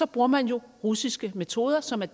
bruger man jo russiske metoder som er